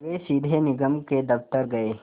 वे सीधे निगम के दफ़्तर गए